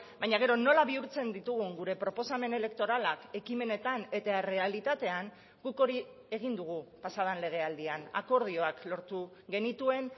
baina gero nola bihurtzen ditugun gure proposamen elektoralak ekimenetan eta errealitatean guk hori egin dugu pasa den legealdian akordioak lortu genituen